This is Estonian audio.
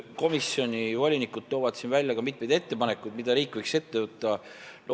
Komisjoni volinikud toovad välja mitmeid ettepanekuid, mida riik võiks ette võtta.